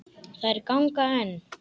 Þær ganga enn.